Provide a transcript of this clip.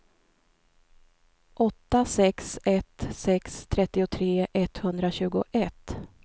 åtta sex ett sex trettiotre etthundratjugoett